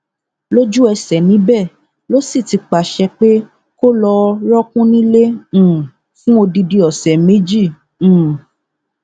lójúẹsẹ níbẹ ló sì ti pàṣẹ pé kó lọá rọọkùn nílé um fún odidi ọsẹ méjì um